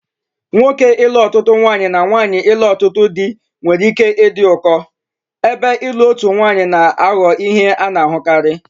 Nwoke ilu otutu nwanyi na nwanyi ilu otutu di nwere ike ịdị ụkọ, ebe ịlụ otu nwanyị na-aghọ ihe a na-ahụkarị.